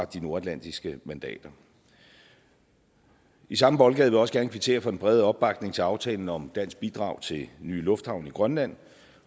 de nordatlantiske mandater i samme boldgade vil jeg også gerne kvittere for den brede opbakning til aftalen om et dansk bidrag til en ny lufthavn i grønland